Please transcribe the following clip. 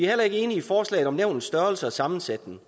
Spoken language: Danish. heller ikke enige i forslaget om nævnets størrelse og sammensætning